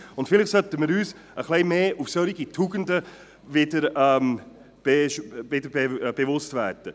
Vielleicht sollten wir uns wieder etwas mehr solcher Tugenden bewusst werden.